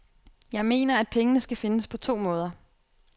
Jeg mener, at pengene skal findes på to måder.